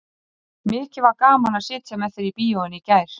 Mikið var gaman að sitja með þér í bíóinu í gær.